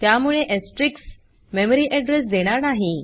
त्यामुळे asterisks memory address देणार नाही